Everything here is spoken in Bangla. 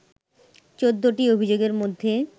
১৪টি অভিযোগের মধ্যে